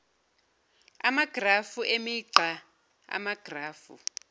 amagrafu emigqa amagrafu